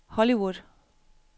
Hollywood